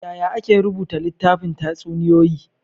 Yaya ake rubuta littafin tatsuniyoyi?